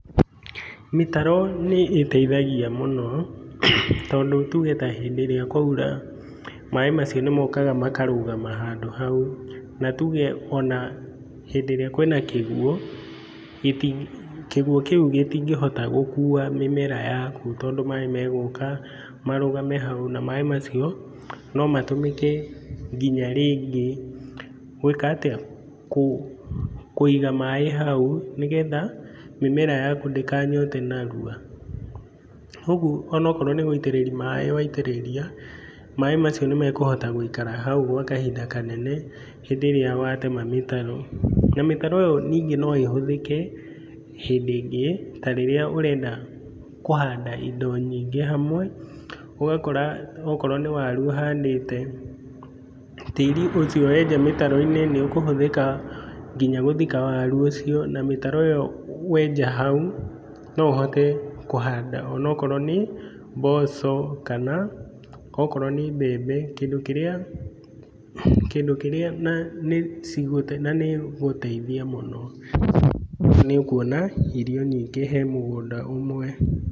Mĩtaro nĩĩteithagia mũno, tondũ tuge ta hĩndĩ ĩrĩa kwaura, maaĩ macio nĩmokaga makarũgama handũ hau. Na tuge ona hĩndĩ ĩrĩa kwĩna kĩguo, gĩti kĩguo kĩu gĩtingĩhota gũkua mĩmera yaku tondũ maaĩ megũka marũgame hau, na maaĩ macio no matũmĩke nginya rĩngĩ, gwĩka atĩa? kũ kũiga maaĩ hau, nĩgetha mĩmera yaku ndĩkanyote narua. Koguo ona akorwo nĩ gũitĩrĩria maaĩ waitĩrĩria, maaĩ macio nĩmekũhota gũikara hau gwa kahinda kanene. Hĩndĩ ĩrĩa watema mĩtaro, na mĩtaro ĩyo ningĩ no ĩhũthĩke hĩndi ĩngĩ ta rĩrĩa ũrenda kũhanda indo nyingĩ hamwe. Akorwo nĩ waru ũhandĩte tĩri ũcio wenja mĩtaro-inĩ nĩũkũhũthĩka nginya gũthika waru ũcio. Na mĩtaro ĩyo wenja hau, no ũhote kũhanda ona akorwo nĩ mboco kana okorwo nĩ mbembe kĩndũ kĩrĩa, kĩndũ kĩrĩa na nĩ igũteithia mũno na nĩũkuona irio nyingĩ hae mũgũnda ũmwe.